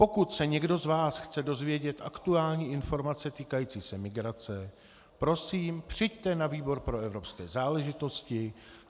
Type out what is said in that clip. Pokud se někdo z vás chce dozvědět aktuální informace týkající se migrace, prosím, přijďte na výbor pro evropské záležitosti.